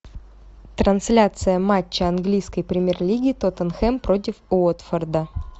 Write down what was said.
трансляция матча английской премьер лиги тоттенхэм против уотфорда